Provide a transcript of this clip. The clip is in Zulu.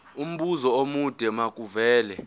umbuzo omude makuvele